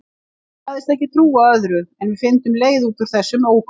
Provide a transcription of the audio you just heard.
Sagðist ekki trúa öðru en við fyndum leið út úr þessum ógöngum.